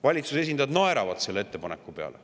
Valitsuse esindajad naeravad selle ettepaneku peale.